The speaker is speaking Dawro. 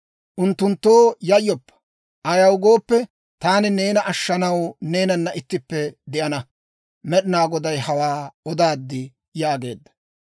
Unttunttoo yayyoppa. Ayaw gooppe, taani neena ashshanaw neenana ittippe de'ana. Med'inaa Goday hawaa odaad» yaageedda.